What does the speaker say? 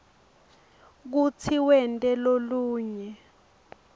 kutsi wente lolunye